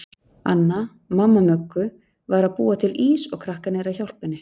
Anna, mamma Möggu, var að búa til ís og krakkarnir að hjálpa henni.